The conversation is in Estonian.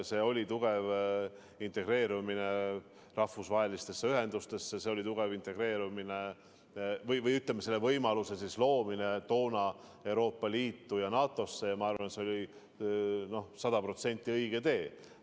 See oli tugev integreerumine rahvusvaheliste ühendustega, see oli tugev integreerumine – või, ütleme, selle võimaluse loomine toona – Euroopa Liidu ja NATO-ga ja ma arvan, et see oli sada protsenti õige tee.